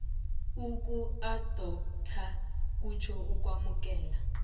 ukuadoptha kutjho ukwamukela